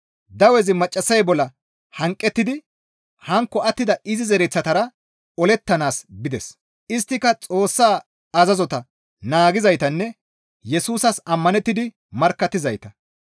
Dawezi maccassay bolla hanqettidi hankko attida izi zereththatara olettanaas bides; isttika Xoossa azazota naagizaytanne Yesusas ammanettidi markkattizayta.